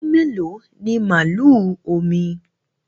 Ọmọ ọdún mèló ní màlúù Omí?